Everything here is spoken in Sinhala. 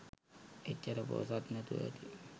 එච්චර පෝසත් නැතුව ඇති?